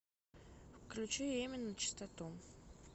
включи эмин начистоту